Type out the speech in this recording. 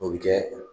O bɛ kɛ